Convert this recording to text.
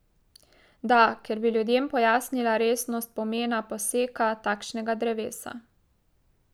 Da, ker bi ljudem pojasnila resnost pomena poseka takšnega drevesa.